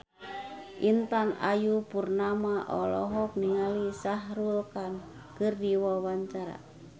Intan Ayu Purnama olohok ningali Shah Rukh Khan keur diwawancara